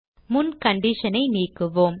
முன் condition ஐ நீக்குவோம்